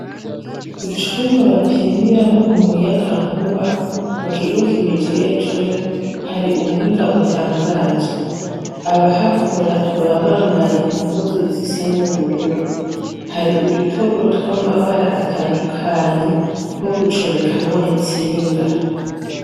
Icumba bapimiramwo umuyagankuba, mu kigo kibijejwe, hari ubuhinga butangaje. Abahakora baba bambaye impuzu zisa n'ubururu. Hari udutoburo tw'amabara atandukanye, two gucomekamwo intsinga.